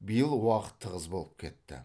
биыл уақыт тығыз болып кетті